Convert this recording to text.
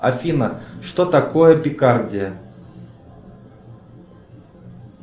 афина что такое пикардия